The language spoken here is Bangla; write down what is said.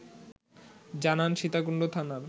জানান সীতাকুণ্ড থানার